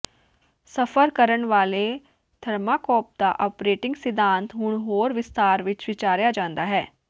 ਸਫ਼ਰ ਕਰਨ ਵਾਲੇ ਥਰਮਾਕੋਪ ਦਾ ਆਪਰੇਟਿੰਗ ਸਿਧਾਂਤ ਹੁਣ ਹੋਰ ਵਿਸਥਾਰ ਵਿੱਚ ਵਿਚਾਰਿਆ ਜਾਂਦਾ ਹੈ